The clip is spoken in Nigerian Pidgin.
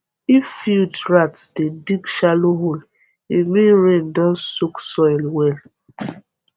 if field rat dey dig shallow hole e mean rain don soak soil well